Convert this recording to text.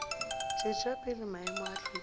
tšwetša pele maemo a hlwekišo